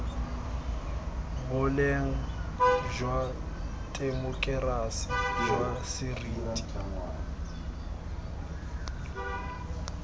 boleng jwa temokerasi jwa seriti